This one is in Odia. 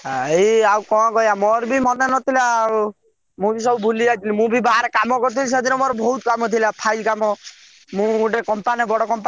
ଏଇ ଆଉ କଣ କହିୟା ମୋର ବି ଆଉ ମନେ ନଥିଲା ଆଉ ମୁଁ ବି ସବୁ ଭୁଲି ଯାଇଥିଲି ମୁଁ ବି ବାହାରେ କାମ କରୁଥିଲି ସେଦିନ ମୋର ବହୁତ କାମ ଥିଲା file କାମ ମୁଁ ଗୋଟେ company